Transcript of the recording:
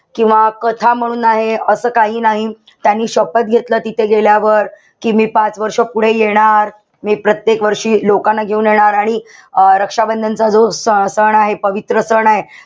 किंवा कथा म्हणून आहे. असं काही नाही. त्यांनी शपथ घेतलं तिथे गेल्यावर. कि मी पाच वर्ष पुढे येणार. मी प्रत्येक वर्षी लोकांना घेऊन येणार आणि अं रक्षाबंधनचा जो स सण आहे, पवित्र सण आहे,